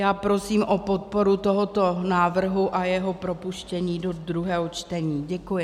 Já prosím o podporu tohoto návrhu a jeho propuštění do druhého čtení děkuji.